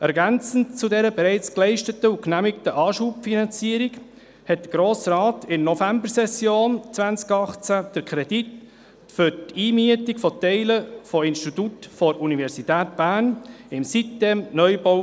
Ergänzend zu dieser bereits geleisteten und genehmigten Anschubfinanzierung genehmigte der Grosse Rat in der Novembersession 2018 den Kredit für die Einmietung von Teilen von Instituten der Universität Bern im Sitem-Neubau.